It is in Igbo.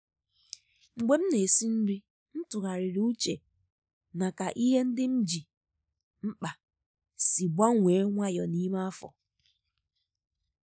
mgbe m na-esi nri m tụgharịrị uche na ka ihe ndị m ji mkpa si gbanwee nwayọọ n’ime afọ.